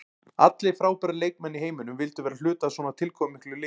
Allir frábærir leikmenn í heiminum vildu vera hluti af svona tilkomumiklu liði.